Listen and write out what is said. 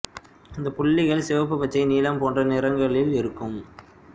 அந்தப் புள்ளிகள் சிவப்பு பச்சை நீலம் போன்ற நிறங்களில் இருக்கும்